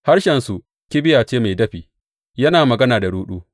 Harshensu kibiya ce mai dafi; yana magana da ruɗu.